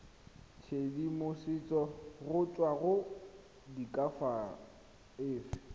tshedimosetso go tswa go diakhaefe